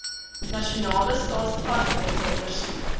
nasionale staatsdepartemente ondersoek